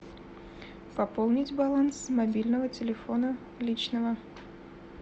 пополнить баланс с мобильного телефона личного